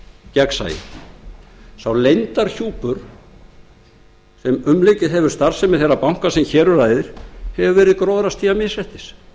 gegnsæið sá leyndarhjúpur sem umlukið hefur starfsemi þeirra banka sem hér um ræðir hefur verið gróðrarstía misréttis